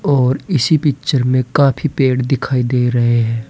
और इसी पिक्चर में काफी पेड़ दिखाई दे रहे हैं।